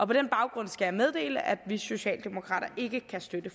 på den baggrund skal jeg meddele at vi socialdemokrater ikke kan støtte